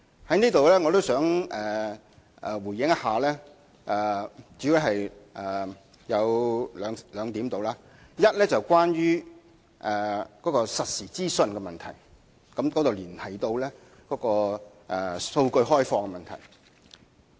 我在此主要想回應兩點：第一，是實時資訊的問題，這連繫到開放大數據的問題。